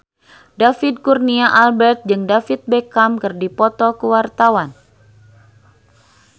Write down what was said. David Kurnia Albert jeung David Beckham keur dipoto ku wartawan